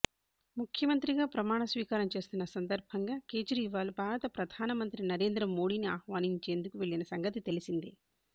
ముఖ్యమంత్రిగా ప్రమాణస్వీకారం చేస్తున్న సందర్భంగా కేజ్రీవాల్ భారత ప్రధానమంత్రి నరేంద్రమోడీని ఆహ్వానించేందుకు వెళ్ళిన సంగతి తెలిసిందే